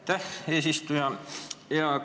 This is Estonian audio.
Aitäh, eesistuja!